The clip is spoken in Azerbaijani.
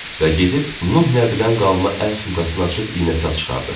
Və gedib Nuh nəbidən qalma əl çantasını açıb iynə-sap çıxardı.